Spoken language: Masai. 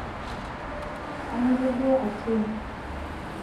anoto duo Atieno